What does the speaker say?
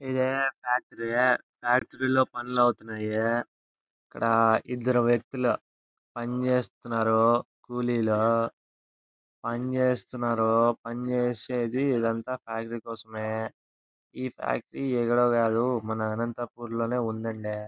ఇది factory . Factory లో పనులవుతున్నాయి. ఇక్కడ ఇద్దరు వ్యక్తులు పని చేస్తున్నారు. కూలీలు పనిచేస్తున్నారు. పని చేసేది ఇదంతా ఫ్యాక్టరీ కోసమే. ఈ ఫ్యాక్టరీ ఎక్కడో కాదు మన అనంతపుర్ లోనే ఉందండి.